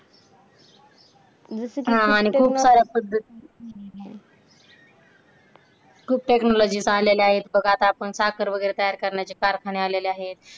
खूप साऱ्या पध्दती खूप technology आलेले आहेत बघ आता आपण साखर वैगरे तयार करण्याचे कारखाने आलेले आहेत.